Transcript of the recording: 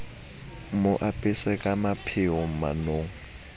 mo apese ka mapheo manong